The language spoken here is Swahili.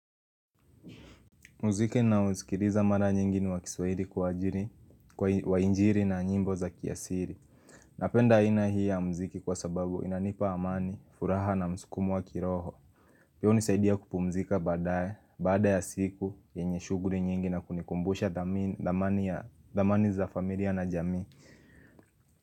Muziki naosikiliza mara nyingi ni wa kiswahili wa injili na nyimbo za kiasili. Napenda aina hii ya muziki kwa sababu inanipa amani, furaha na mskumo wa kiroho. Pia hunisaidia kupumzika baadae, baada ya siku, yenye shughuli nyingi na kunikumbusha dhamani za familia na jamii.